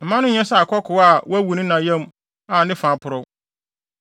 Mma no nyɛ sɛ akokoaa a wawu wɔ ne yam a ne fa aporɔw.”